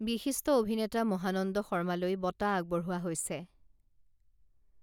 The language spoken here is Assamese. বিশিষ্ট অভিনেতা মহানন্দ শৰ্মালৈ বঁটা আগবঢ়োৱা হৈছে